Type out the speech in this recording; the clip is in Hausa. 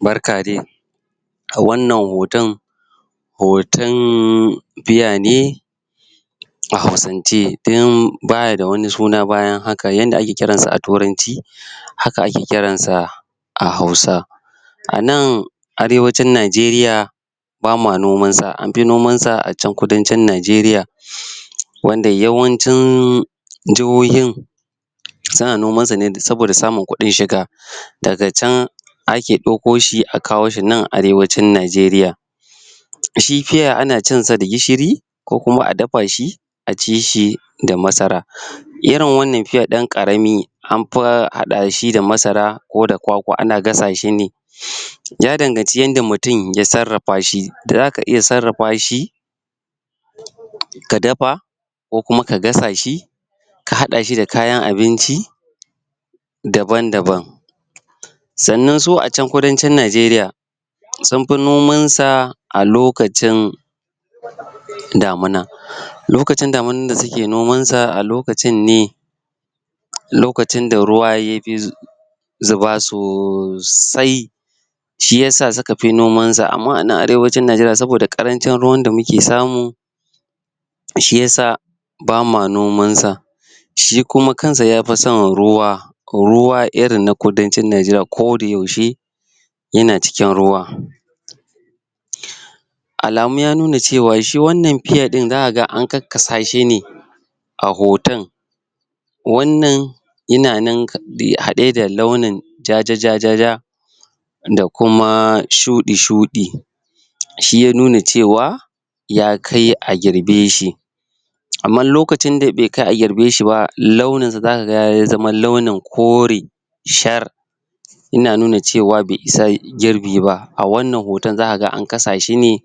Barka de a wannan hoton hoton pear ne a hausance don baya da wani suna bayan haka, haka yanda ake kiran sa a turanci haka ake kiransa a hausa A nan, arewacin Najeriya bama noman sa, an fi noman sa a can kudancin Najeriya wanda yawnacin suna noman sa ne saboda samun kudin shiga daga can ake dauko shi a kawo shi nan arewacin Najeriya Shi pear ana cinsa da gishiri ko kuma a dafa shi a ci shi ko kuma a dafa shi a ci shi da masara irin wannan pear din karami an fi hada shi da masara ko da kwakwa ana gasa shi ya danganci yanda mutum ya tsarrafa shi da zaka iya tsarrafa shi ka dafa ko kuma ka gasa shi ka hada shi da kayan abinci daban daban sanan su a can kudancin Najeriya sun fi noman sa a lokacin damina. Lokacin daminan da suke noman sa a lokacin ne lokacin da ruwa ya zuba sosai shi yasa suka fi noman sa amma ana arewacin Najeriya saboda karancin ruwan da muke samu shi yasa bama noman sa shi kuma kansa ya fi son ruwa ko ruwa irin na kudancin Najeriya ko da yaushe yana cikin rowa Alamu ya nuna cewa shi wannan pear din za a ga an kakasa shi ne a hoton wannan yana nan hade da launin jajajajajaj da kuma shudi shudi shi ya nuna cewa ya kai a girbe shi amma lokacin da be kai a yabe shi ba za ka ga ya zama kori shar ina nuna cewa be isa girbi ba, a wannan hota za ka ga an kasa shi ne